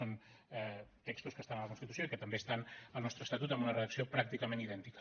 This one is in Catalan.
són textos que estan a la constitució i que també estan al nostre estatut amb una redacció pràcticament idèntica